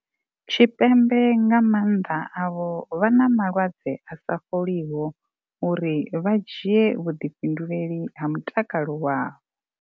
Tshipembe nga mannḓa avho vha na malwadze a sa fholiho uri vha dzhie vhuḓifhinduleli ha mutakalo wavho.